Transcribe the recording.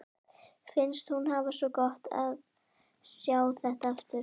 Finnst hún hafa svo gott af að sjá þetta aftur.